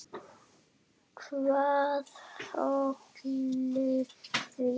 Hvað olli því?